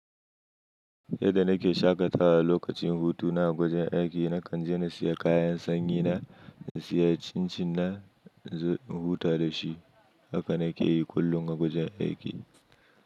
Yadda nake shaƙatawa lokacin hutu na a wajen aiki, na kan je na siya kayan sanyi na, na siya cin-cin na in zo in huta da shi. Haka na ke yi kullum a gwajin aiki.